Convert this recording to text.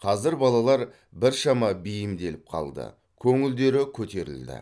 қазір балалар біршама бейімделіп қалды көңілдері көтерілді